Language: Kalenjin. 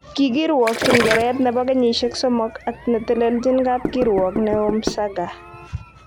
Kikirwokyi keret nebo kenyishek 3 ak netelelchin kapkirwok neo Msagha.